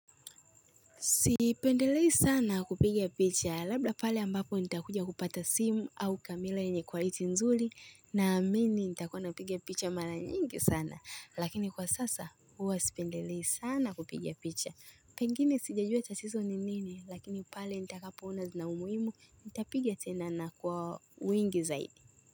Sipendelei sana kupigia picha labda pale ambapo nitakuja kupata simu au kamela enye qualiti nzuli na amini nitakuwa napigia picha mara nyingi sana lakini kwa sasa huwa sipendelei sana kupigia picha. Pengine sijajua tatizo ni nini lakini pale nitakapo ona zina umuhimu nitapiga tena na kwa wingi zaidi.